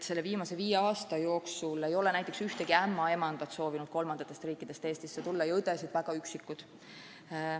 Viimase viie aasta jooksul ei ole näiteks ükski ämmaemand mõnest kolmandast riigist soovinud Eestisse tööle tulla ja õdesid on olnud mõni üksik.